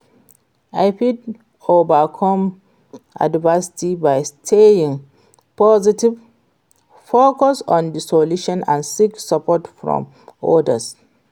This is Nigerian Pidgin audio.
i fit overcome adversity by staying positive, focus on di solution and seek support from odas.